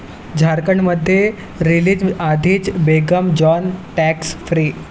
झारखंडमध्ये रिलीजआधीच 'Begum Jaan' 'tax free'